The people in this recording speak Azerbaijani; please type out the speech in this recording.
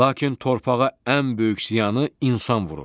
Lakin torpağa ən böyük ziyanı insan vurur.